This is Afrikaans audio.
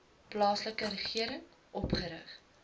plaaslike regering opgerig